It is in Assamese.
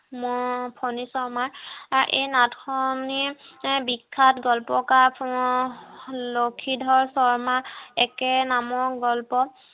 ম ফনী শৰ্মাৰ এই নাটখনি য়ে বিখ্যাত গ্ল্প কাৰ লক্ষীধৰ শৰ্মাৰ একে নামৰ গল্প